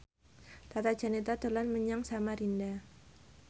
Tata Janeta dolan menyang Samarinda